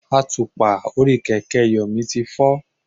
Àtùpà orí kẹ̀kẹ́ Yomi ti fọ́.